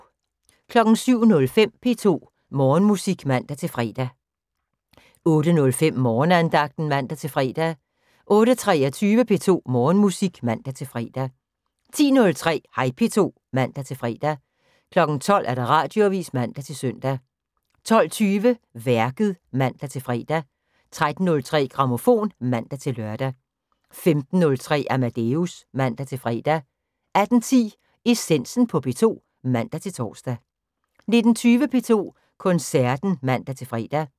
07:05: P2 Morgenmusik (man-fre) 08:05: Morgenandagten (man-fre) 08:23: P2 Morgenmusik (man-fre) 10:03: Hej P2 (man-fre) 12:00: Radioavis (man-søn) 12:20: Værket (man-fre) 13:03: Grammofon (man-lør) 15:03: Amadeus (man-fre) 18:10: Essensen på P2 (man-tor) 19:20: P2 Koncerten (man-fre)